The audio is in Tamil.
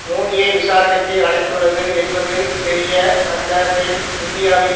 மோடியை விசாரணைக்கு அழைத்துள்ளது என்பது தெரியவந்தபின் இந்தியாவின்